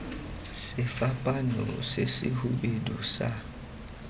sefapaano se se hubedu sa